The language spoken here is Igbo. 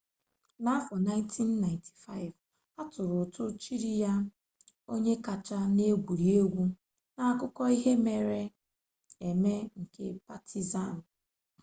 n'afọ 1995 a tụrụ ụtụ chiri ya onye kacha n'egwuregwu n'akụkọ ihe mere eme nke patizan